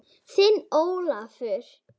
Þinn Ólafur.